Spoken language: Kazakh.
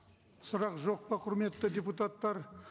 сұрақ жоқ па құрметті депутаттар